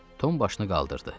Tom başını qaldırdı.